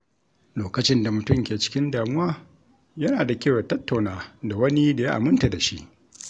Lokacin da mutum ke cikin damuwa, yana da kyau ya tattauna da wani da ya aminta da shi.